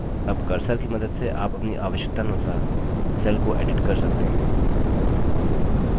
अब cursor की मदद से आप अपनी आवश्यकतानुसार cell को edit कर सकते हैं